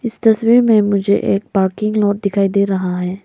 इस तस्वीर में मुझे एक पार्किंग लॉट दिखाई दे रहा है।